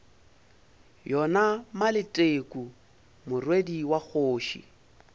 yona maleteku morwedi wa kgoši